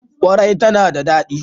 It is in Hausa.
ƙwarai tana da daɗi.